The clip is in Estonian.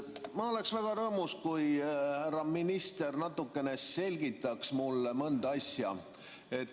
Ma oleksin väga rõõmus, kui härra minister natuke selgitaks mulle mõnda asja.